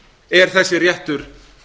er þessi réttur